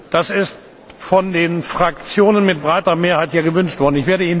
Das ist von den Fraktionen mit breiter Mehrheit hier gewünscht worden.